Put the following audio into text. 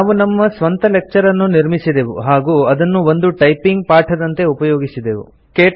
ನಾವು ನಮ್ಮ ಸ್ವಂತ ಲೆಕ್ಚರ್ ಅನ್ನು ನಿರ್ಮಿಸಿದೆವು ಹಾಗೂ ಅದನ್ನು ಒಂದು ಟೈಪಿಂಗ್ ಪಾಠದಂತೆ ಉಪಯೋಗಿಸಿದೆವು